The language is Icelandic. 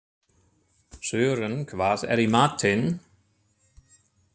Sören, hvað er í matinn?